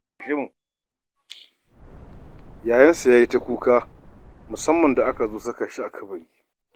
Yayansa ya yi ta kuka, musamman ma da aka zo saka shi a kabari.